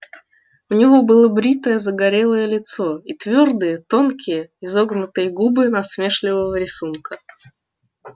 у него было бритое загорелое лицо и твёрдые тонкие изогнутые губы насмешливого рисунка